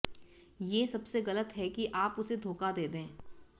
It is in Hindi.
ये सबसे गलत है कि आप उसे धोखा दे दें